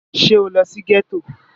À ïî÷åìó ó âàñ íåò â ýòîì ñëó÷àè èçíè?